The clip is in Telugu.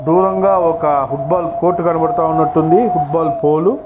దూరంగా ఒక ఫుట్ బాల్ కోర్ట్ కనబడతా ఉన్నది. Football pool --